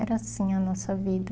Era assim a nossa vida.